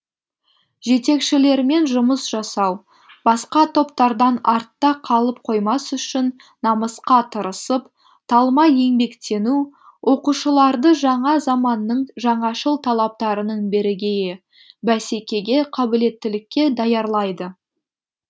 жетекшілермен жұмыс жасау басқа топтардан артта қалып қоймас үшін намысқа тырысып талмай еңбектену оқушыларды жаңа заманның жаңашыл талаптарының бірегейі бәсекеге қабілеттілікке даярлайды